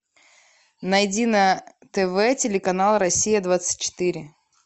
найди на тв телеканал россия двадцать четыре